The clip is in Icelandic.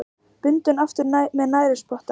Bundinn aftur með snærisspotta.